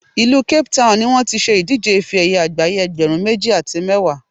ìlú Cape Town ni wọ́n ti ṣe ìdíje ife ẹ̀yẹ àgbáyé ẹgbẹ̀rún méjì àti mẹ́wàá